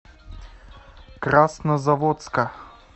краснозаводска